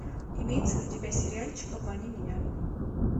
имеется ли у тебя сериальчик обмани меня